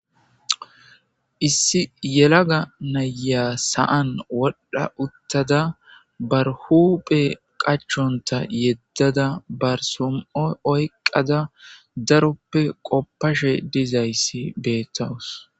Issi yelaga naya sa'an wodha utada bare huphe qachonta yedada bare som'o oykada qofashe dizays betawus